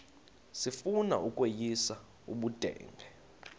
sifuna ukweyis ubudenge